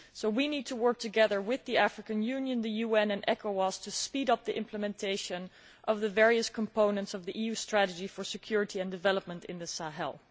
We need to work together with the African Union, the UN and ECOWAS to speed up the implementation of the various components of the EU strategy for security and development in the Sahel.